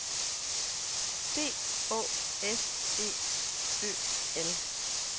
D Å S E Ø L